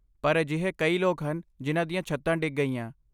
ਪਰ ਅਜਿਹੇ ਕਈ ਲੋਕ ਹਨ ਜਿਨ੍ਹਾਂ ਦੀਆਂ ਛੱਤਾਂ ਡਿੱਗ ਗਈਆਂ।